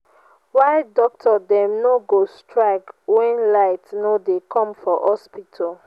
why doctor dem no go strike wen light no dey come for hospital?